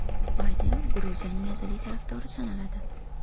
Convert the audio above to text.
Bayden Gruziyaning azaliy tarafdori sanaladi.